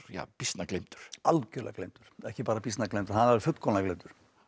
býsna gleymdur algjörlega gleymdur ekki bara býsna gleymdur hann er fullkomlega gleymdur